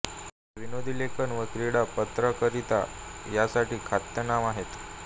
ते विनोदी लेखन व क्रीडा पत्रकारिता यांसाठी ख्यातनाम आहेत